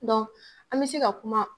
an bɛ se ka kuma.